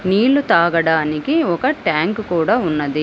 నీళ్లు తాగడానికి ఒక ట్యాంకు కూడా ఉన్నది.